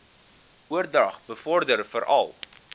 oordrag bevorder veral